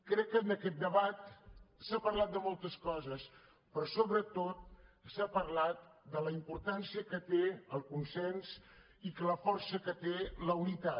crec que en aquest debat s’ha parlat de moltes coses però sobretot s’ha parlat de la importància que té el consens i la força que té la unitat